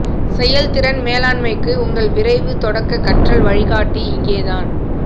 செயல்திறன் மேலாண்மைக்கு உங்கள் விரைவு தொடக்க கற்றல் வழிகாட்டி இங்கே தான்